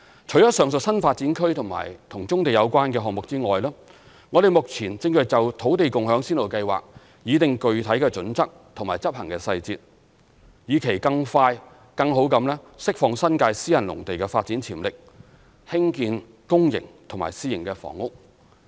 除上述新發展區及與棕地有關的項目外，我們目前正就土地共享先導計劃擬定具體準則及執行細節，以期更快更好地釋放新界私人農地的發展潛力興建公營及私營房屋。